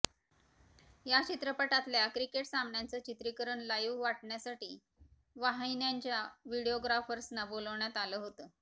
या चित्रपटातल्या क्रिकेट सामन्याचं चित्रीकरण लाइव्ह वाटण्यासाठी वाहिन्यांच्या व्हिडीओग्राफर्सना बोलवण्यात आलं होतं